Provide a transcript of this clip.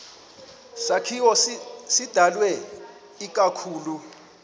sakhiwo sidalwe ikakhulu